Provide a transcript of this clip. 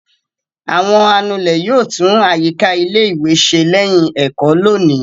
Àwọn anulẹ̀ yóò tún àyíká ilé-ìwé ṣe lẹ́yìn ẹ̀kọ́ lónìí.